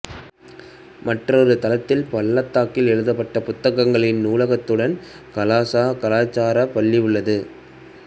மற்றொரு தளத்தில் பள்ளத்தாக்கில் எழுதப்பட்ட புத்தகங்களின் நூலகத்துடன் கலாசா கலாச்சார பள்ளி உள்ளது